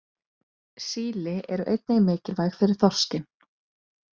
Síli eru einnig mikilvæg fyrir þorskinn.